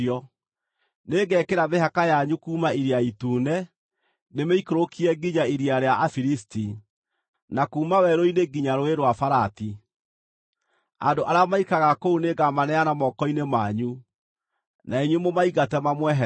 “Nĩngekĩra mĩhaka yanyu kuuma Iria Itune, ndĩmĩikũrũkie nginya Iria rĩa Afilisti, na kuuma werũ-inĩ nginya Rũũĩ rwa Farati. Andũ arĩa maikaraga kũu nĩngamaneana moko-inĩ manyu, na inyuĩ mũmaingate mamweherere.